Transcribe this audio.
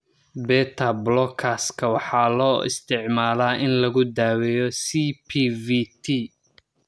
Beta-blockers-ka waxaa loo isticmaalaa in lagu daweeyo CPVT.